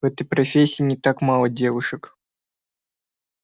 в этой профессии не так мало девушек